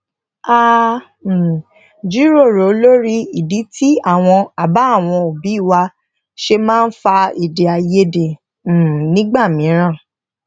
a um jiroro lori idi ti awon aba àwọn obi wa se maa n fa ede aiyede um nigba miiran